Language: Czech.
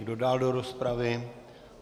Kdo dál do rozpravy?